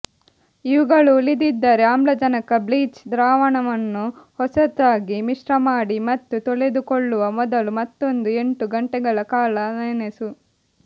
ಇವುಗಳು ಉಳಿದಿದ್ದರೆ ಆಮ್ಲಜನಕ ಬ್ಲೀಚ್ ದ್ರಾವಣವನ್ನು ಹೊಸದಾಗಿ ಮಿಶ್ರಮಾಡಿ ಮತ್ತು ತೊಳೆದುಕೊಳ್ಳುವ ಮೊದಲು ಮತ್ತೊಂದು ಎಂಟು ಗಂಟೆಗಳ ಕಾಲ ನೆನೆಸು